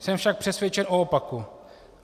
Jsem však přesvědčen o opaku.